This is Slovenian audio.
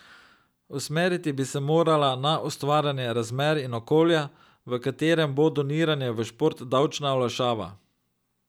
Usmeriti bi se morala na ustvarjanje razmer in okolja, v katerem bo doniranje v šport davčna olajšava.